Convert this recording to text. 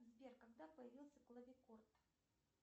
сбер когда появился клавикорд